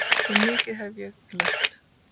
Svo mikið hef ég lært.